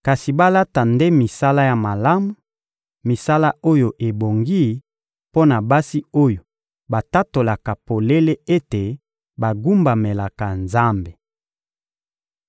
kasi balata nde misala ya malamu, misala oyo ebongi mpo na basi oyo batatolaka polele ete bagumbamelaka Nzambe.